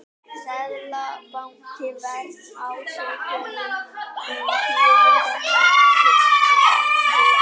Seðlabanki verst ásökunum um gyðingahatur